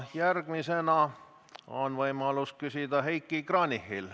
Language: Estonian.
Järgmisena on võimalus küsida Heiki Kranichil.